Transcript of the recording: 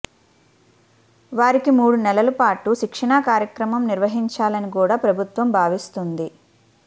వారికీ మూడు నెలలు పాటు శిక్షణా కార్యక్రమం నిర్వహించాలని కూడా ప్రభుత్వం భావిస్తోంది